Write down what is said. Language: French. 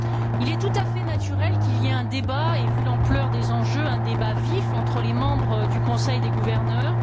Il est tout à fait naturel qu'il y ait un débat, et vu l'ampleur des enjeux, un débat vif entre les membres du conseil des gouverneurs.